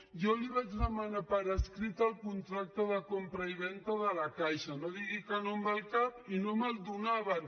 jo li vaig demanar per escrit el contracte de compravenda de la caixa no digui que no amb el cap i no me’l do·naven